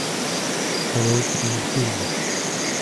корейские фильмы